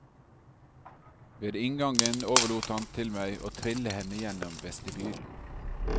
Ved inngangen overlot han til meg å trille henne gjennom vestibylen.